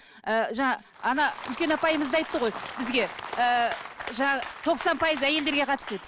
ы жаңа ана үлкен апаймыз да айтты ғой бізге ыыы жаңағы тоқсан пайыз әйелдерге қатысты деп